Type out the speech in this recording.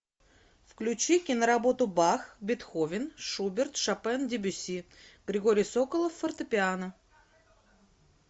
включи киноработу бах бетховен шуберт шопен дебюсси григорий соколов фортепиано